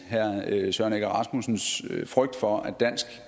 herre søren egge rasmussens frygt for at dansk